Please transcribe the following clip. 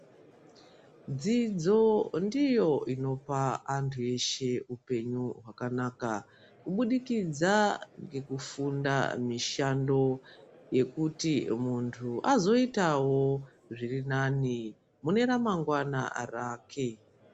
Dzidzo ndiyo inopa antu eshe upenyu hwakanaka kubudikidza ngekufunda mishando yekuti muntu azoitawo zvirinane muneramangwana rake